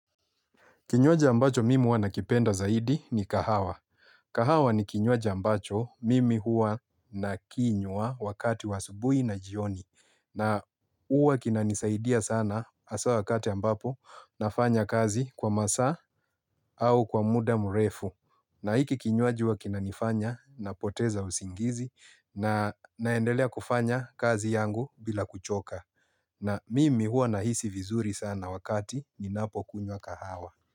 Kinywaji ambacho mimi huwa nakipenda zaidi ni kahawa. Kahawa ni kinywaji ambacho mimi huwa na kinywa wakati wa asubuhi na jioni. Na huwa kinanisaidia sana haswa wakati ambapo nafanya kazi kwa masaa au kwa muda murefu. Na hiki kinywaji huwa kinanifanya napoteza usingizi na naendelea kufanya kazi yangu bila kuchoka. Na mimi hua nahisi vizuri sana wakati ninapokunywa kahawa.